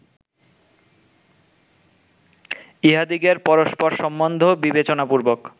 ইঁহাদিগের পরস্পর সম্বন্ধ বিবেচনাপূর্বক